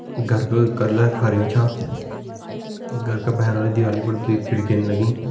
घर का कलर हरयूं छ घर का भैर वाली दीवाली पर दुई खिड़कीन लगीं।